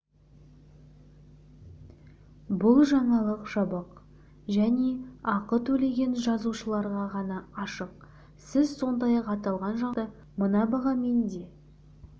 бұл жаңалық жабық және ақы төлеген жазылушыларға ғана ашық сіз сондай-ақ аталған жаңалықты мына бағамен де